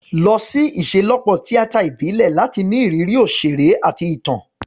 Lọ sí ìṣelọ́pọ̀ tíátà ìbílẹ̀ láti ní ìrírí òṣèré àti ìtàn.